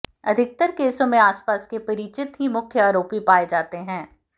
अधिकतर केसों में आसपास के परिचित ही मुख्य आरोपी पाये जाते हैं